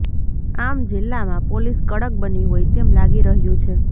આમ જિલ્લામાં પોલીસ કડક બની હોય તેમ લાગી રહ્યુ છે